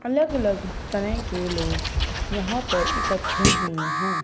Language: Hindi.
अलग-अलग तरह के लोग यहां पर इकट्ठे हुए हैं।